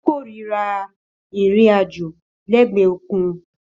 Ó kórìíra ìrìn-àjò lẹ́gbẹ̀ẹ́ òkun